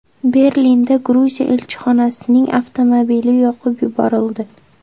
Berlinda Gruziya elchixonasining avtomobili yoqib yuborildi.